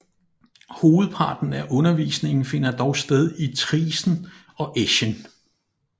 Hovedparten af undervisningen finder dog sted i Triesen og Eschen